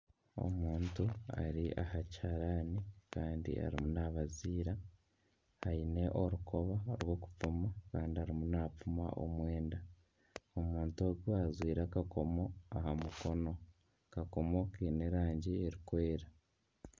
Omuntu ari aha kiharani kandi ariyo nabaziira aine orukoba rw'okupima Kandi arimu napima omwenda. Omuntu ogu ajwaire akakomo aha mukono, akakomo kiine erangye eri kweera.